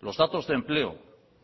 los datos de empleo